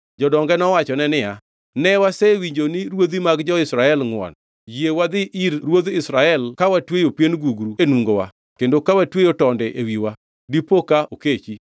Jodonge nowachone niya, “Ne, wasewinjo ni ruodhi mag jo-Israel ngʼwon. Yie wadhi ir ruodh Israel ka watweyo pien gugru e nungowa kendo ka watweyo tonde e wiwa. Dipo ka okechi.”